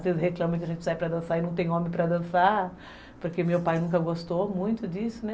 Às vezes reclama que a gente sai para dançar e não tem homem para dançar, porque meu pai nunca gostou muito disso, né?